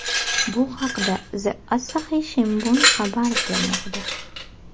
Bu haqda The Asahi Shimbun xabar bermoqda .